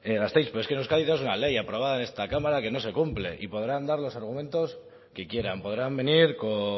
gasteiz pero es que en euskadi ya es una ley aprobada en esta cámara que no se cumple y podrán dar los argumentos que quieran podrán venir con